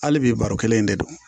Hali bi baro kelen in de don